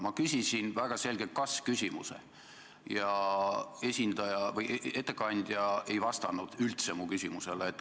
Ma küsisin väga selgelt kas-küsimuse ja ettekandja ei vastanud üldse mu küsimusele.